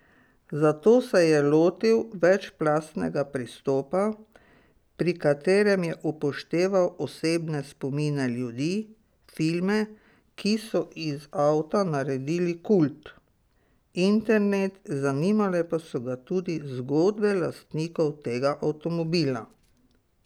Zato se je lotil večplastnega pristopa, pri katerem je upošteval osebne spomine ljudi, filme, ki so iz avta naredil kult, internet, zanimale pa so ga tudi zgodbe lastnikov tega avtomobila.